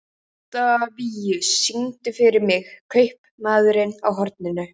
Oktavíus, syngdu fyrir mig „Kaupmaðurinn á horninu“.